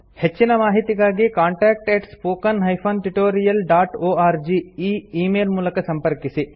ಹೆಚ್ಚಿನ ಮಾಹಿತಿಗಾಗಿ contact spoken tutorialorg ಈ ಈ ಮೇಲ್ ಮೂಲಕ ಸಂಪರ್ಕಿಸಿ